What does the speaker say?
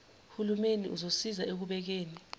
hulumeni uzosiza ekubekeni